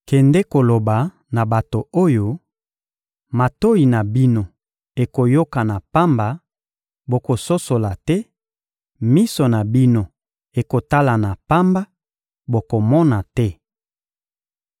«Kende koloba na bato oyo: Matoyi na bino ekoyoka na pamba, bokososola te; miso na bino ekotala na pamba, bokomona te.